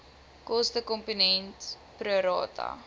kostekomponent pro rata